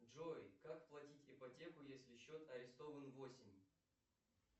джой как платить ипотеку если счет арестован в осень